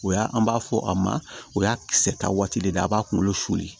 O y'a an b'a fɔ a ma o y'a kisɛ ta waati de ye a b'a kunkolo suli